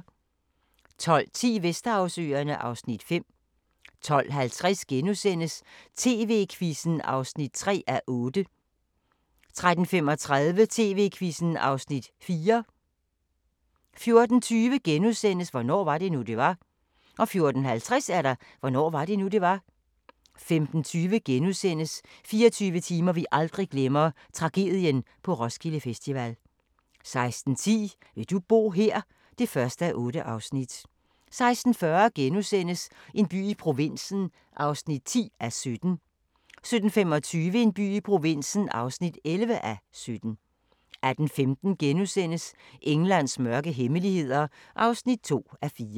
12:10: Vesterhavsøerne (Afs. 5) 12:50: TV-Quizzen (3:8)* 13:35: TV-Quizzen (Afs. 4) 14:20: Hvornår var det nu, det var? * 14:50: Hvornår var det nu, det var? 15:20: 24 timer vi aldrig glemmer – Tragedien på Roskilde Festival * 16:10: Vil du bo her? (1:8) 16:40: En by i provinsen (10:17)* 17:25: En by i provinsen (11:17) 18:15: Englands mørke hemmeligheder (2:4)*